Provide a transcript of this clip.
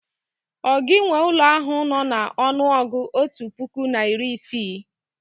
ọ gi nwe ụlọ ahu no na ọnụọgụ otu puku na iri isii?